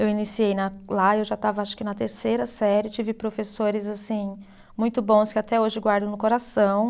Eu iniciei na, lá eu já estava acho que na terceira série, tive professores assim muito bons que até hoje guardo no coração.